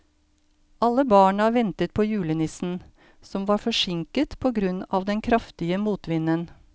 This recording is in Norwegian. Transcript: Alle barna ventet på julenissen, som var forsinket på grunn av den kraftige motvinden.